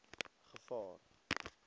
gevaar